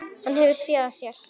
Hann hefur SÉÐ AÐ SÉR.